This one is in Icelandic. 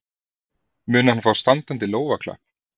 Mun hann fá standandi lófaklapp?